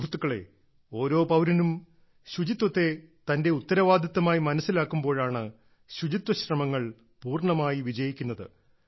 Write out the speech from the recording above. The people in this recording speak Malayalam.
സുഹൃത്തുക്കളേ ഓരോ പൌരനും ശുചിത്വത്തെ തന്റെ ഉത്തരവാദിത്തമായി മനസ്സിലാക്കുമ്പോഴാണ് ശുചിത്വ ശ്രമങ്ങൾ പൂർണ്ണമായി വിജയിക്കുന്നത്